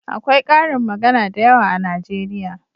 Akwai ƙarin magana da yawa a najeriya